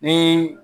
Ni